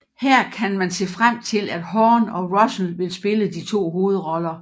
Her kan man se frem til at Hawn og Russell vil spille de to hovedroller